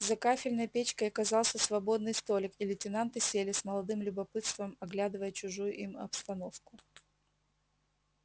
за кафельной печкой оказался свободный столик и лейтенанты сели с молодым любопытством оглядывая чужую им обстановку